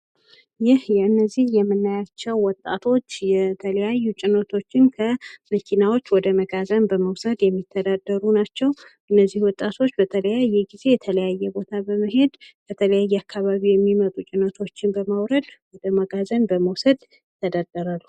ይህ የእነዚህ የምናያቸው ወጣቶች የተለያዩ ጭኖቶችን ከመኪናዎች ወደ መጋዘን በመውሰድ የሚተዳደሩ ናቸው። እነዚህ ወጣቶች በተለያየ ጊዜ የተለያየ ቦታ በመሄድ በተለያየ አካባቢ የሚመጡ ጭነቶችን በማውረድ ወደ መጋዘን በመውሰድ ይተዳደራሉ።